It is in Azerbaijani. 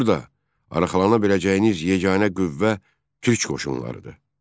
Burda arxalana biləcəyiniz yeganə qüvvə türk qoşunlarıdır.